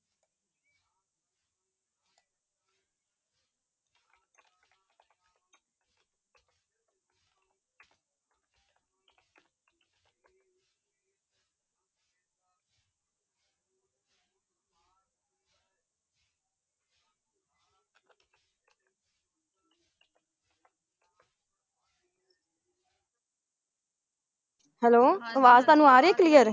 hello ਆਵਾਜ਼ ਤੁਹਾਨੂੰ ਆ ਰਹੀ clear ਹੈ ।